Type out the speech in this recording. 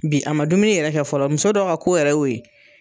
Bi a man dumuni yɛrɛ kɛ fɔlɔ muso dɔ ka ko yɛrɛ ye o ye.